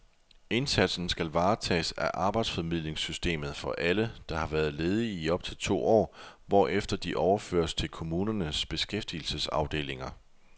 Indsatsen skal varetages af arbejdsformidlingssystemet for alle, der har været ledige i op til to år, hvorefter de overføres til kommunernes beskæftigelsesafdelinger.